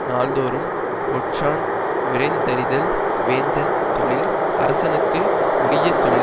நாள்தோறும் ஒற்றான் விரைந்தறிதல் வேந்தன் தொழில் அரசனுக்கு உரிய தொழில்